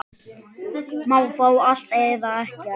Má fá allt, eða ekkert.